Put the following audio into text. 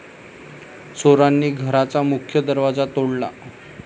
चोरांनी घराचा मुख्य दरवाजा तोडला.